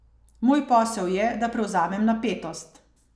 Moj posel je, da prevzamem napetost.